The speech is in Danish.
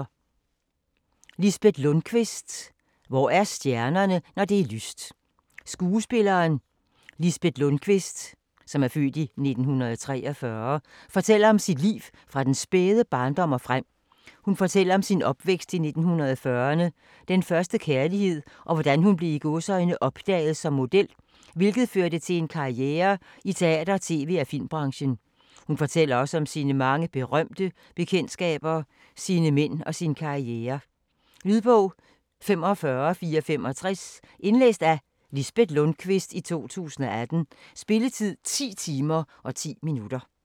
Lundquist, Lisbet: Hvor er stjernerne når det er lyst Skuespilleren Lisbet Lundquist (f. 1943) fortæller om sit liv fra den spæde barndom og frem. Hun fortæller om sin opvækst i 1940'erne, den første kærlighed, og hvordan hun blev "opdaget" som model, hvilket førte til en karriere i teater-, tv- og filmbranchen. Hun fortæller også om sine mange berømte bekendtskaber, sine mænd, og sin karriere. Lydbog 45465 Indlæst af Lisbet Lundquist, 2018. Spilletid: 10 timer, 10 minutter.